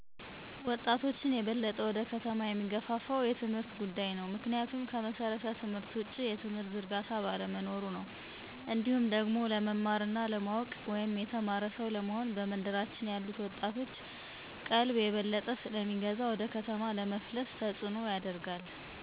ወጣቾችን የበለጠ ወደ ከተማ የሚገፋፋው የትምህርት ጉዳይ ነው። ምክንያቱም ከመሠረተ ትምህርት ውጪ የትምህርት ዝርጋታ ባለመኖሩ ነው። እንዲሁም ደግሞ ለመማር እና ለማወቅ (የተማረ ሰው) ለመሆን በመንደራችን ያሉት ወጣቶችን ቀልብ የበለጠ ስለሚገዛ ወደ ከተማ ለመፍለስ ተጽኖን ያደርጋል።